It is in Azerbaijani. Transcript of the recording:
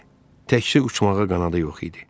Təkcə uçmağa qanadı yox idi.